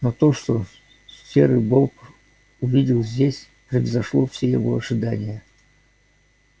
но то что серый бобр увидел здесь превзошло все его ожидания